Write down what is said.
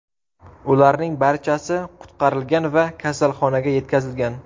Ularning barchasi qutqarilgan va kasalxonaga yetkazilgan.